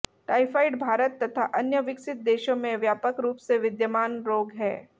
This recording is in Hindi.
टाइफाइड भारत तथा अन्य विकसित देशों में व्यापक रूप से विद्यमान रोग है